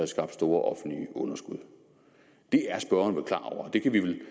skabt store offentlige underskud det er spørgeren vel klar over det kan vi vel